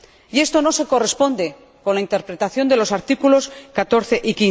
Y esto no se corresponde con la interpretación de los artículos 14 y